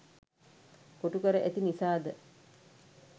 කොටු කර ඇති නිසා ද?